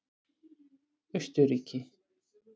Austurríki